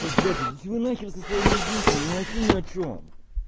ой блять идите вы на хрен со своим резинками они вообще ни о чем